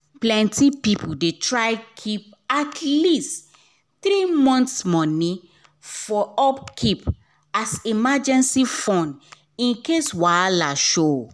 plenty people dey try keep at least three months money for upkeep as emergency fund in case wahala show